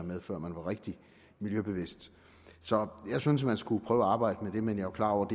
med før man var rigtig miljøbevidst så jeg synes man skulle prøve at arbejde med det men jeg er klar over at